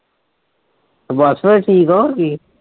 ਬਸ ਫਿਰ ਠੀਕ ਆ ਹੋਰ ਕੀ ਹੈ।